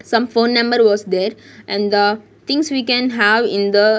Some phone number was there and the things we can have in the --